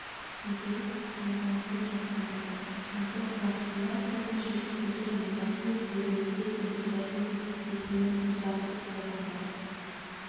де таңданысын жасырмады концерт барысында топ мүшесі сәкен майғазиев елімізде сәбилердің есімін музарт деп қойғандар